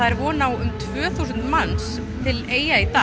von á tvö þúsund manns til Eyja í dag